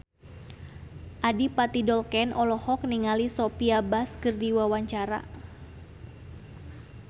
Adipati Dolken olohok ningali Sophia Bush keur diwawancara